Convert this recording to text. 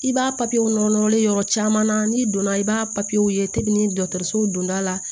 I b'a nɔrɔ nɔrɔlen yɔrɔ caman na n'i donna i b'a ye donda la